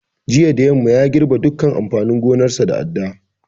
Jiya da yamma ya girɓe dukkan amfanin gonarsa da adda